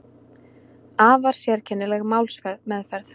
Afar sérkennileg málsmeðferð